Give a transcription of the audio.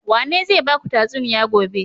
Wane zai baku tatsuniya gobe?